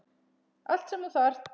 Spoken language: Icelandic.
Allt sem þú þarft.